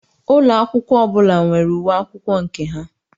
Úlọ akwụkwọ ọbụla nwere uwe akwụkwọ nke ha.